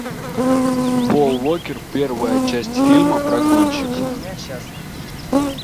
пол уокер первая часть фильма про гонщиков